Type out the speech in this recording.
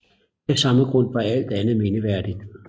Af samme grund var alt andet mindreværdigt